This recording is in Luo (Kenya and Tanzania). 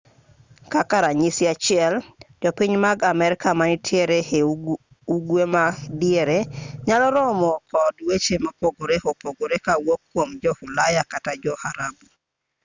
kaka ranyisi achiel jopiny mag amerka manitiere e ugwe ma diere nyalo romo kod weche mopogore opogore kowuok kuom jo-ulaya kata jo-arabu